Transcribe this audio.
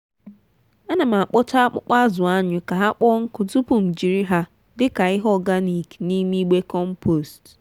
ana m akpọcha akpụkpọ azụ anyụ ka ha kpọọ nkụ tupu m jiri ha dị ka ihe oganik n’ime igbe kọmpost